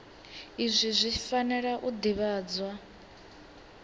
izwi zwi fanela u ḓivhadzwa